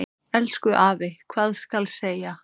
Elsku afi, hvað skal segja.